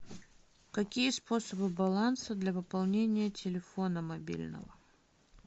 какие способы баланса для пополнения телефона мобильного